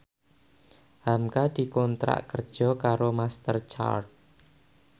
hamka dikontrak kerja karo Master Card